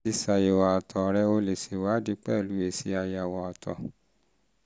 láti ṣàyẹ̀wò àtọ̀ rẹ o lè ṣe ìwádìí pẹ̀lú èsì àyẹ̀wò àtọ̀